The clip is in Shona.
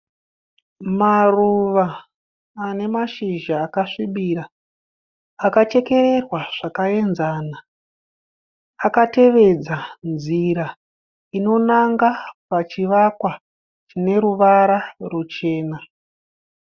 Maruva ane mashizha akasvibira. Akachekererwa zvakaenzana. Akatevedza nzira inonanga pachivakwa chineruvara ruchena.